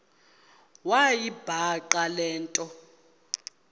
wayibhaqa le nto